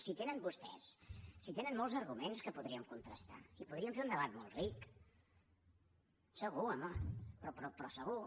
si tenen vostès molts arguments que podrien contrastar i podrien fer un debat molt ric segur home però segur